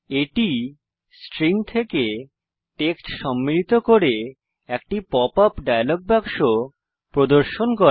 এটি স্ট্রিং থেকে টেক্সট সম্মিলিত করে একটি পপ আপ ডায়লগ বাক্স প্রদর্শন করে